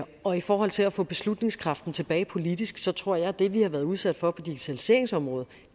og i forhold til at få beslutningskraften tilbage politisk så tror jeg at det vi har været udsat for på digitaliseringsområdet